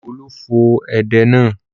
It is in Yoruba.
Olú fọ edé náà.